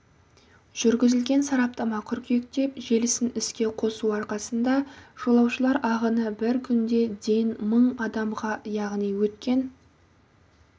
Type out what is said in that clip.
жүргізілген сараптама қыркүйекте желісін іске қосу арқасында жолаушылар ағыны бір күнде ден мың адамға яғни өткен